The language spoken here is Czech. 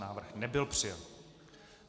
Návrh nebyl přijat